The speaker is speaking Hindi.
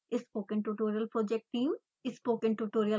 spoken tutorial project team: